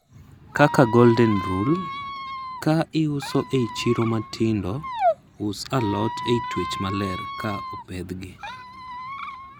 kaka "golden rule" kaa iuso ei chiro matindo, us alot ei twech maler kaa opethgi